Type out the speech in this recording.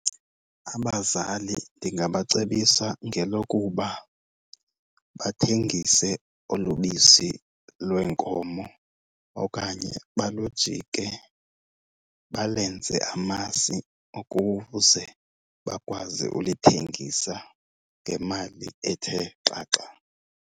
Abazali ndingabacebisa ngelokuba bathengise olu bisi lwenkomo okanye balujike balenze amasi ukuze bakwazi ulithengisa ngemali ethe xaxa.